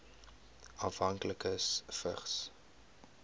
afhanklikes vigs